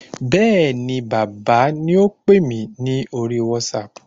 Bẹ́ẹ̀ni bàbá ni ópè mi ní orí WhatsApp